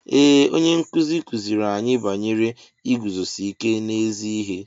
Ee onye nkụzi kụziiri anyị banyere iguzosi ike n'ezi ihe.